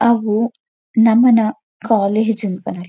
ಅವು ನಮನ ಕಾಲೇಜ್ ಇಂದ್ ಪನೊಲಿ.